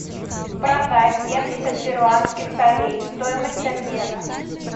продать семьдесят перуанских солей стоимость обмена